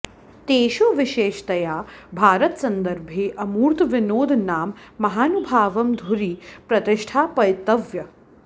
तेषु विशेषतया भारतसन्दर्भे अमूर्तविनोद नाम महानुभावं धुरि प्रतिष्ठापयितव्यः